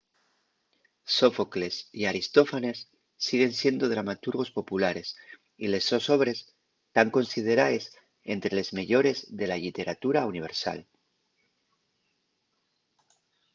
sófocles y aristófanes siguen siendo dramaturgos populares y les sos obres tán consideraes ente les meyores de la lliteratura universal